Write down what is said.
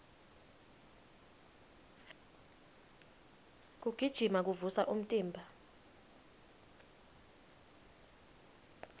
kugijima kuvusa umtimba